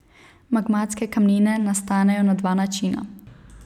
Magmatske kamnine nastanejo na dva načina.